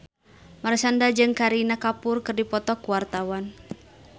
Marshanda jeung Kareena Kapoor keur dipoto ku wartawan